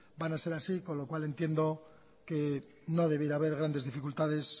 van a ser así con lo cual entiendo que no debiera haber grandes dificultades